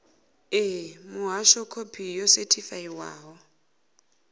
ṋee muhasho khophi yo sethifaiwaho